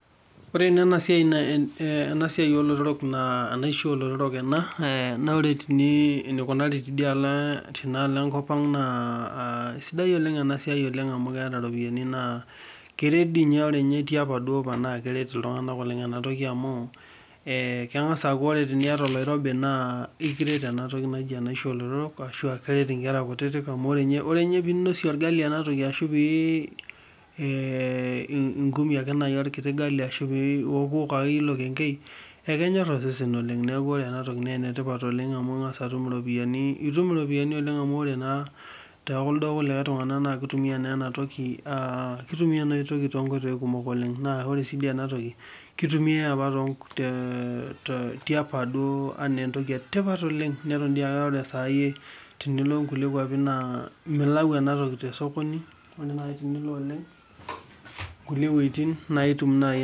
Kore ena ana na ena siai oo lotorok ena, naa ore tenii eneikunari teidie aalo enkopang naa esiadai oleng ena siai oleng amu keata iropiyiani, naa keredi ore ninye apa etii apa duo naa keret ltunganak oleng enatoki amuu keng'as aaku ore tinieta oloirobi naa ekiret enatoki oleng naji enaisho oo lotorok, ashu a keret inkera kutitik amu ore ninye piinosie ilgali enatoki ashuu pee inkumie ake lkiti ilgali ashu pee iokuok ake iye ilo keng'ei ekenyor osesen oleng neaku kore enatoki naa enetipat oleng amu ing'as atum iropiyiani, itum iropiyiani oleng amuu ore naa kunda kulikai tungana naa ketumia naa enatoki too inkoitoi kumok oleng, naa ore sii ninye enatoki keitumiyai apa too nkoitoi, tiapa duo enaa entoki etipat oleng, neton dei aa ore sai tenilo inkule kwapi naa milau enatoki te soko ajo nai tenilo oleng.